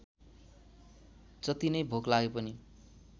जतिनै भोक लागेपनि